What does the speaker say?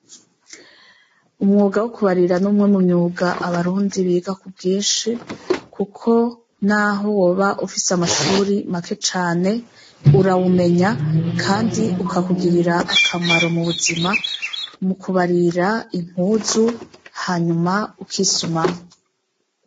Umwuga wo kubarira n'umwe mu myuga abarundi biga ku bwinshi, kuko naho woba ufise amashuri make cane urawumenya, kandi ukakugirira akamaro mu buzima mu kubarira impuzu hanyuma ukisumamwo.